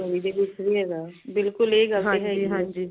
theory ਦੇ ਵਿਚਗ ਵੀ ਹੇਗਾ ਬਿਲਕੁਲ ਐ ਗੱਲ ਤੇ ਹੈਗੀ ਹੈ